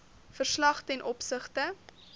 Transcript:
verslag ten opsigte